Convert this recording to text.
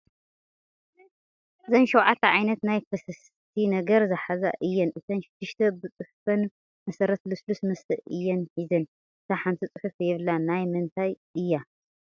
እዘን ሸውዓተ ዓይነት ናይ ፈሰስቲ ነገር ዝሓዛ እየን እተን ሽድሽተ ብፅሑፈን መሰረት ልሱሉስ መስተ እየን እየን ሒዘን ፡ እታ ሓንቲ ፅሑፍ የብላን ናይ ምንታይ እያ ?